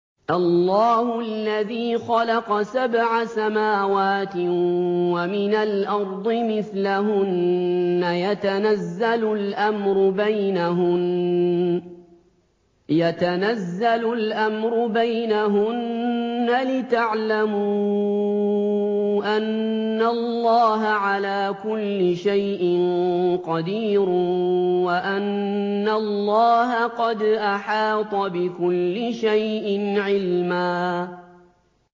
اللَّهُ الَّذِي خَلَقَ سَبْعَ سَمَاوَاتٍ وَمِنَ الْأَرْضِ مِثْلَهُنَّ يَتَنَزَّلُ الْأَمْرُ بَيْنَهُنَّ لِتَعْلَمُوا أَنَّ اللَّهَ عَلَىٰ كُلِّ شَيْءٍ قَدِيرٌ وَأَنَّ اللَّهَ قَدْ أَحَاطَ بِكُلِّ شَيْءٍ عِلْمًا